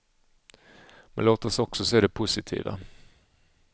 Men låt oss också se det positiva.